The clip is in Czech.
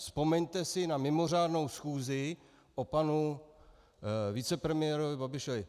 Vzpomeňte si na mimořádnou schůzi o panu vicepremiérovi Babišovi.